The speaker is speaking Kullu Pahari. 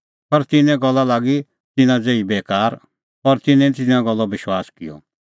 पर तिन्नें गल्ला लागी तिन्नां ज़ेही बेकार और तिन्नैं निं तिन्नें गल्लो विश्वास किअ